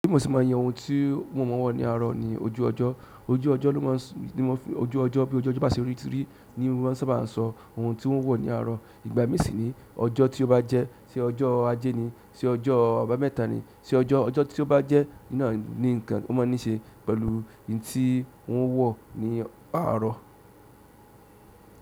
Mo si máa ń yẹ ohun tí mò ń wò láàárọ̀ ni ojú ọjọ́. Ojú ọjọ́ ló mọ̀ ní wọ́n fi ojú ọjọ́ bí ojú ọjọ́ bá sì rí ti rí ní wọ́n sábà ń sọ ohun tí n ó wọ̀ ní àárọ̀. Ìgbà míì sì nìí ọjọ́ tí ó bá jẹ́, ṣé ọjọ́ ajé ni, ṣé ọjọ́ àbámẹ́ta ni, ṣe ọjọ́, ọjọ́ tí ó bá jẹ́ náà ni nǹkan ó mọ́ ní ṣe pẹ̀lú ohun tí wọ́n wọ̀ ní àárọ̀.